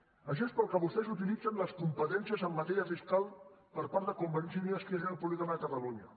per a això és per al que vostès utilitzen les competències en matèria fiscal per part de convergència i unió i esquerra republicana de catalunya